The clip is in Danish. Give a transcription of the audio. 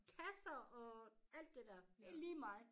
Kasser og alt det dér det lige mig